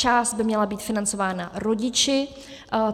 Část by měla být financována rodiči.